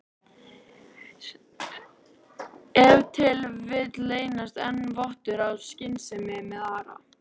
Ef til vill leyndist enn vottur af skynsemi með Ara?